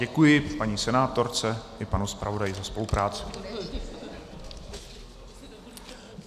Děkuji paní senátorce i panu zpravodaji za spolupráci.